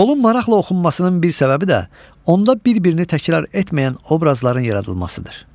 Qolun maraqla oxunmasının bir səbəbi də onda bir-birini təkrar etməyən obrazların yaradılmasıdır.